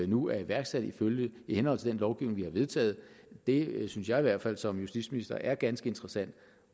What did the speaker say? nu er iværksat i henhold til den lovgivning vi har vedtaget det synes jeg i hvert fald som justitsminister er ganske interessant